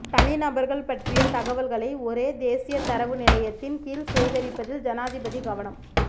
தனிநபர்கள் பற்றிய தகவல்களை ஒரே தேசிய தரவு நிலையத்தின் கீழ் சேகரிப்பதில் ஜனாதிபதி கவனம்